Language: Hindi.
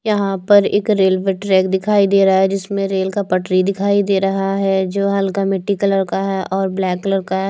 यहां पर एक रेलवे ट्रैक दिखाई दे रहा है जिसमें रेल का पटरी दिखाई दे रहा है जो हल्का मिट्टी कलर का है और ब्लैक कलर का है।